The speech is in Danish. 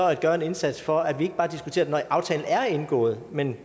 at gøre en indsats for at vi ikke bare diskuterer det når aftalen er indgået men